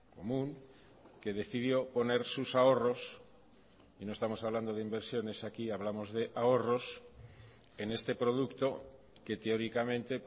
común que decidió poner sus ahorros y no estamos hablando de inversiones aquí hablamos de ahorros en este producto que teóricamente